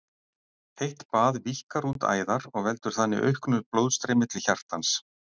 Heitt bað víkkar út æðar og veldur þannig auknu blóðstreymi til hjartans.